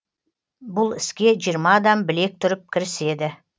бұл іске жиырма адам білек түріп кіріседі